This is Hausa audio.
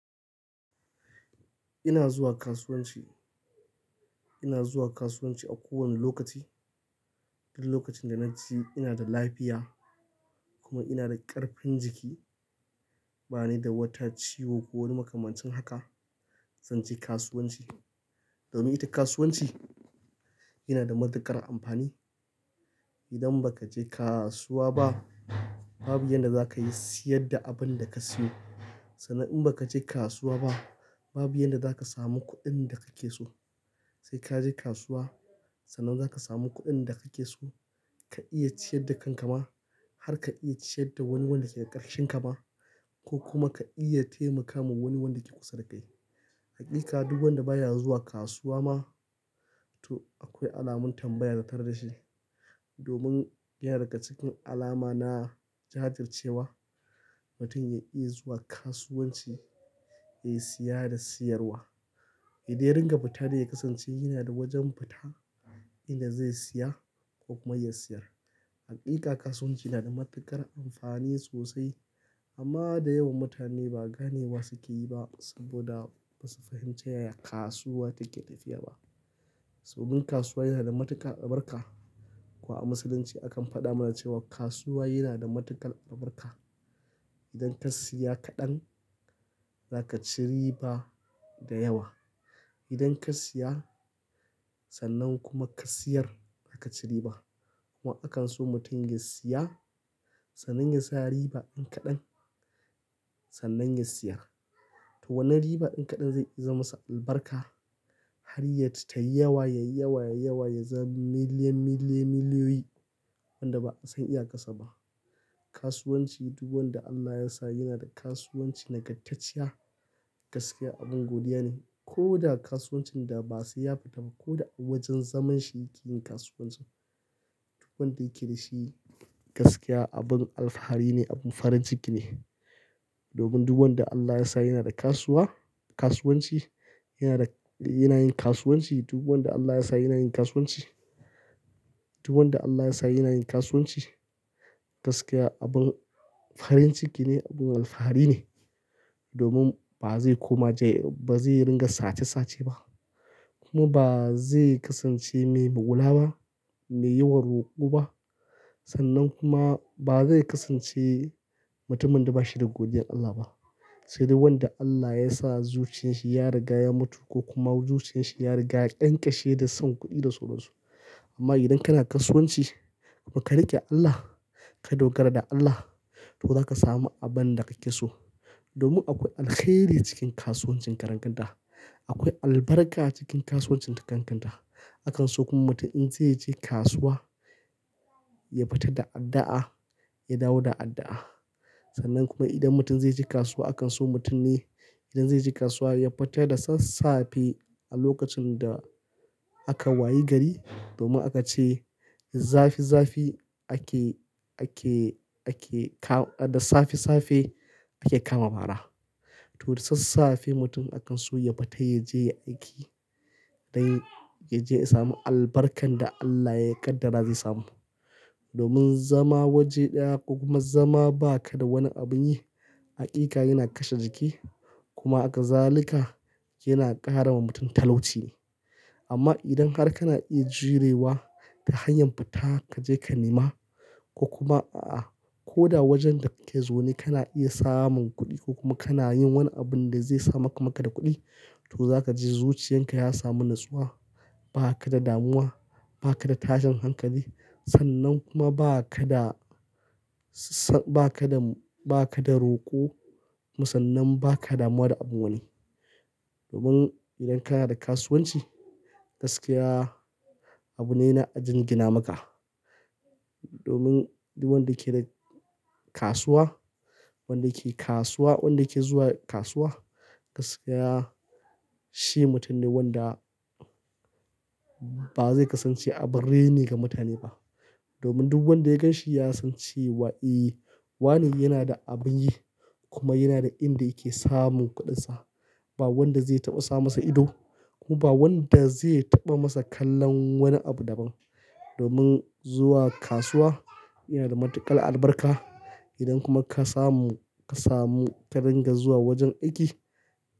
Ina zuwa kasuwanci, ina zuwa kasuwanci a kowane lokaci. Duk lokacin da na ji ina da lafiya kuma ina da ƙarfin jiki, bani da wata ciwo ko wani makamancin haka, zan je kasuwanci. Domin ita kasuwanci yana da matuƙar amfani. Idan ba ka je kasuwa ba, babu yadda za ka iya siyar da abin da ka siyo. Sannan in ba ka je kasuwa ba, babu yadda za ka samu kuɗin da kake so. Sai kaje kasuwa sannan za ka samu kuɗin da kake so, ka iya ciyar da kanka ma har ka iya ciyar da wani wanda ke ƙarshen ka ma ko kuma ka iya taimaka ma wani wandake kusa da kai. Inkagan wanda baya zuwa kasuwa ma to akwai alamun tambaya zatar da shi. Domin iya daga cikin alama na jahartar cewa mutum ya iya zuwa kasuwanci ya siya da siyarwa. Idan ya ringa fita da ya kasance yana da wajen fita inda zai siya ko komai ya siyar. Mika kasuwanci yana da matuƙar amfani sosai amma da yawan mutane ba ganewa suke yi ba saboda ba su fahimci yaya kasuwa take tafiya ba. So bin kasuwa yana da matuƙar albarka. Kuma a Musulunci akan faɗa mana cewa kasuwa yana da matuƙar albarka. Idan ka siya kaɗan za ka ci riba da yawa. Idan ka siya sannan kuma ka siyar, za ka ci riba. Kuma akan so mutum ya siya sannan ya sa riba in kaɗan sannan ya siya. To wannan riba in kaɗan zai iya zamasa albarka har ya ji tayi yawa, yayi yawa, yayi yawa ya zama miliyan, miliyan, miliyoyi wanda ba'a san iya ƙasa ba. Kasuwanci duk wanda Allah ya sa yana da kasuwanci naggatacciya gaskiya abin godiya ne. Ko da kasuwancin da ba sai ya fita ba ko wajen zaman shi yake yin kasuwancin. Duk wanda yake da shi gaskiya abin alfahari ne, abin farin ciki ne. Domin duk wanda Allah ya sa yana da kasuwa, kasuwanci yana da, yana yin kasuwanci duk wanda Allah ya sa yana yin kasuwanci. Duk wanda Allah ya sa yana yin kasuwanci gaskiya abin farin ciki ne, abin alfahari ne. Domin ba zai koma jail, ba zai ringa sace sace ba kuma ba zai kasance mai bugula ba, mai yi wa ruku ba. Sannan kuma ba zai kasance mutumin da ba shi da godiyar Allah ba. Sai dai wanda Allah ya sa zuciyan shi ya riga ya mutu ko kuma zuciyan shi ya riga ya ƙyanƙashe da son kuɗi da so na su. Amma idan kana kasuwanci kuma ka riƙe Allah, ka dogara da Allah to za ka samu abin da kake so. Domin akwai alkhairi cikin kasuwancin karen ganda. Akwai albarka cikin kasuwancin takan kanta. Akan so kuma mutum in zai je kasuwa ya fita da addu'a, ya dawo da addu'a. Sannan kuma idan mutum zai je kasuwa akan so mutum ne idan zai je kasuwa ya fita da sassafe a lokacin da aka waye gari domin aka ce zafi, zafi ake, ake, ake ka-- da safe safe ake kama mara. To da sassafe mutum akan so ya fita ya je aiki dai ya je ya sami albarkan da Allah ya kaddara zai samu. Domin zama waje ɗaya ko kuma zama ba ka da wani abin yi hakika yana kashe jiki kuma a kazalika yana ƙara wa mutum talauci. Amma idan har kana iya jurewa ta hanyar fita ka je ka nema ko kuma a'a ko da wajen da kake zo ne kana iya samun kuɗi ko kuma kana yin wani abin da zai samar maka da kuɗi to za ka ji zuciyan ka ya samu natsuwa. Ba ka da damuwa, ba ka da tashin hankali sannan kuma ba ka da s-s ba ka da, ba ka da roko musannan ba ka damuwa da abin wani. Domin idan kana da kasuwanci gaskiya abu ne na a jingina maka. Domin duk wanda yake da kasuwa, wanda yake kasuwa, wanda yake zuwa kasuwa gaskiya shi mutum ne wanda ba zai kasance abin rene ga mutane ba. Domin duk wanda ya gan shi ya san cewa eh wane yana da abin yi kuma yana da inda yake samun kuɗinsa. Ba wanda zai taɓa sa masa ido kuma ba wanda zai taɓa masa kallon wani abu daban. Domin zuwa kasuwa yana da matuƙar albarka. Idan kuma ka samu, ka samu, ka ringa zuwa wajen aiki.